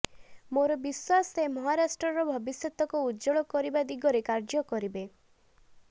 ମୋର ବିଶ୍ୱାସ ସେ ମହାରାଷ୍ଟ୍ରର ଭବିଷ୍ୟତକୁ ଉଜ୍ଜ୍ୱଳ କରିବା ଦିଗରେ କାର୍ଯ୍ୟ କରିବେ